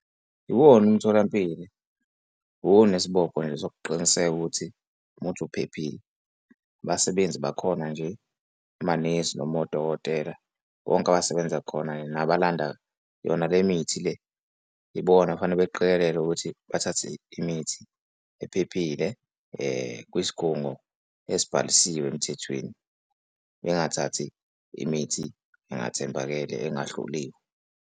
Iwona umtholampilo, uwona isibopho nje sokuqiniseka ukuthi uphephile. Abasebenzi bakhona nje amanesi noma odokotela bonke abasebenza khona nabalanda yona le mithi le yibona okufanele beqikelele ukuthi bathathe imithi ephephile kwisigungo esibhalisiwe emthethweni, bengathathi imithi engathembakele engahloliwe.